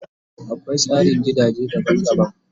Akwai tsarin gidaje daban daban